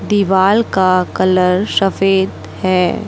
दीवाल का कलर सफेद है।